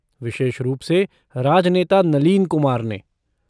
विशेष रूप से राजनेता नलीन कुमार ने।